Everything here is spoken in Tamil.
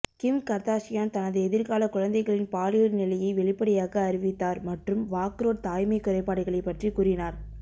கிம் கர்தாஷியான் தனது எதிர்கால குழந்தைகளின் பாலியல் நிலையை வெளிப்படையாக அறிவித்தார் மற்றும் வாக்ரோட் தாய்மை குறைபாடுகளை பற்றி கூறினார்